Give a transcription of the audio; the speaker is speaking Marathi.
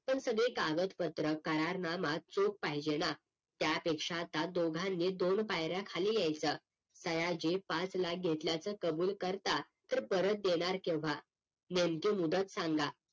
पण सगळे कागद पत्र करार नामा चोक पाहिजेना त्यापेक्षा आता दोघांनी दोन पायऱ्या खाली यायच सयाजी पाच लाख घेतल्याचं कबूल करता तर परत देणार केव्हा नेमकी मुदत सांगा